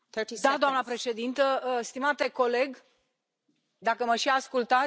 Doamna președintă, stimate coleg dacă mă și ascultați